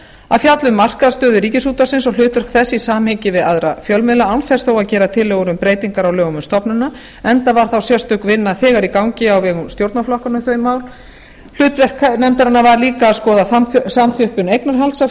að fjalla um markaðsstöðu ríkisútvarpsins og hlutverk þess í samhengi við aðra fjölmiðla án þess þó að gera tillögur um breytingar á lögum um stofnunina enda var þá sérstök vinna þegar í gangi á vegum stjórnarflokkanna um þau mál hlutverk nefndarinnar var líka að skoða samþjöppun eignarhalds á